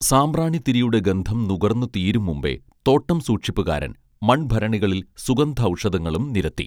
സാമ്പ്രാണിതിരിയുടെ ഗന്ധം നുകർന്ന് തീരും മുമ്പെ തോട്ടംസൂക്ഷിപ്പുകാരൻ മൺഭരണികളിൽ സുഗന്ധൌഷധങ്ങളും നിരത്തി